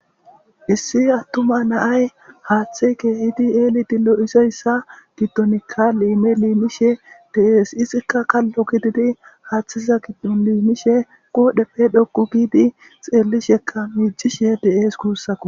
issi attuma na'ay haaththe kehidi eeli dillo izeyssa giddonikka liime liimishe deees izikka qallo kididi haaththisa giddon liimishe qoodheppe dhokku giidi xeellishekka miijishe de7ees guussako